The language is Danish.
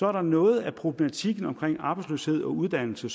er noget af problematikken omkring arbejdsløshed og uddannelse